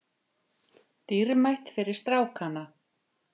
Dýrmætt fyrir strákana